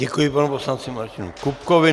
Děkuji panu poslanci Martinu Kupkovi.